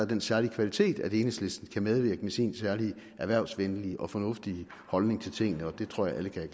den særlige kvalitet at enhedslisten kan medvirke med sin særlige erhvervsvenlige og fornuftige holdning til tingene og det tror jeg alle kan